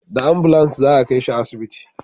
Da ambulans za a kai shi asibiti